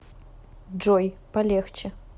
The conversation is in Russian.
джой полегче